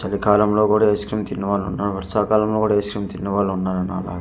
చలి కాలం లో కూడా ఐస్క్రీమ్ తినే వాళ్ళు ఉన్నారు వర్షాకాలం లో కూడా ఐస్క్రీమ్ తినేవాళ్ళు ఉన్నారు నాలా.